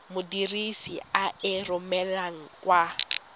modirisi a e romelang kwa